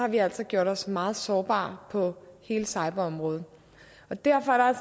vi altså gjort os meget sårbare på hele cyberområdet derfor er